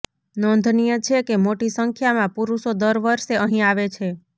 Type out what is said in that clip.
નોંધનીય છે કે મોટી સંખ્યામાં પુરુષો દર વર્ષે અહીં આવે છે